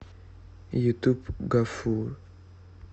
ютуб гафур